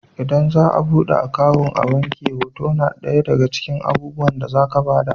Idan za a buɗe akawun a abnki hoto na ɗaya daga cikin abubuwan da za ka ba da.